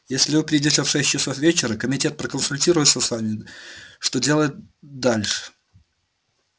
если вы придёте в шесть часов вечера комитет проконсультируется с вами что делать дальше